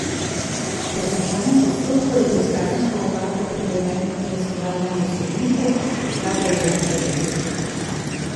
Po končanem postopku je bil s kazensko ovadbo priveden k preiskovalnemu sodniku, ta pa je zanj odredil pripor.